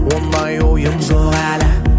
ондай ойым жоқ әлі